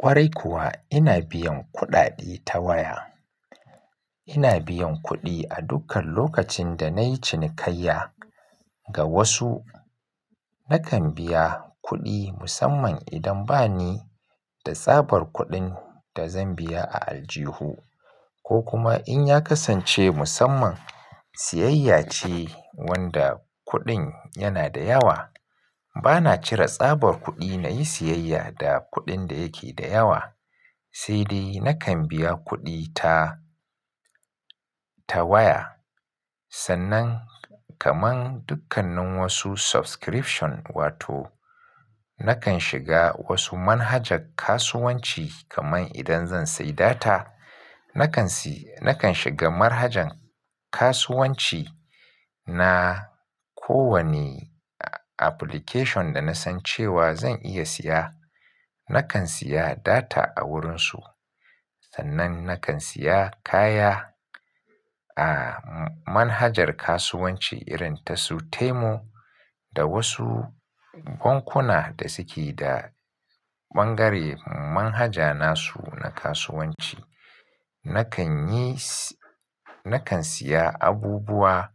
Kwarai kuwa ina biyan kuɗaɗe ta waya. Ina biyan kuɗi a dukkan lokacin da na yi cinikayya. Ga wasu nakan biya kuɗi musamman idan ba ni da tsabar kuɗin da zan biya a aljihu ko kuma in ya kasance musamman siyayya ce wanda kuɗin yana da yawa. Ba na cire tsabar kuɗi na yi siyayya da kuɗin da yake da yawa, sai dai nakan biya kuɗi ta, ta waya. Sannan kaman dukkanin wasu subscription wato nakan shiga wasu manhajar kasuwanci kaman idan zan sayi data, nakan si, nakan shiga manhajan kasuwanci na ko wane application da na san cewa zan iya siya. Nakan siya data a wurinsu sannan nakan siya kaya a manhajar kasuwanci irin tasu tamu da wasu bankuna da suke da bangare manhaja nasu na kasuwanci. Nakan yi si, nakan siya abubuwa